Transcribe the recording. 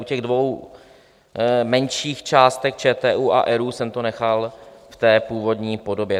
U těch dvou menších částek - ČTÚ a ERÚ - jsem to nechal v té původní podobě.